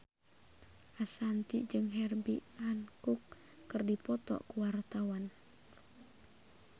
Ashanti jeung Herbie Hancock keur dipoto ku wartawan